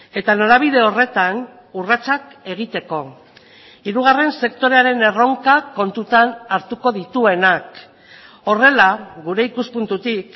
eta norabide horretan urratsak egiteko hirugarren sektorearen erronka kontutan hartuko dituenak horrela gure ikuspuntutik